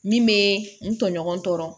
Min bɛ n tɔɲɔgɔn tɔɔrɔ